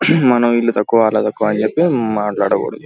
మనం ఇల్లు తక్కువ అల్లు తక్కువ అని చెప్పి మాట్లాడకూడదు.